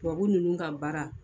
Tubabu ninnu ka baara.